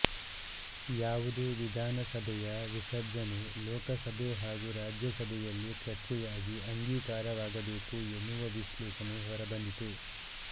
ಯಾವುದೇ ವಿಧಾನಸಭೆಯ ವಿಸರ್ಜನೆ ಲೋಕಸಭೆ ಹಾಗೂ ರಾಜ್ಯಸಭೆಯಲ್ಲಿ ಚರ್ಚೆಯಾಗಿ ಅಂಗೀಕಾರವಾಗಬೇಕು ಎನ್ನುವ ವಿಶ್ಲೇಷಣೆ ಹೊರಬಂದಿತು